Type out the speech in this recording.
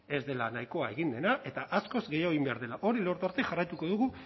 ez dela nahikoa egin dena eta askoz gehiago egin behar dela hori lortu arte jarraituko dugu